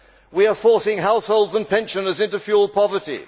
We are forcing households and pensioners into fuel poverty.